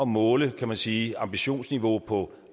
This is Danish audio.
måle kan man sige ambitionsniveauet på